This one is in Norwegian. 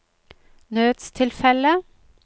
nødstilfelle